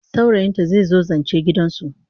Saurayinta zai zo zance gidansu.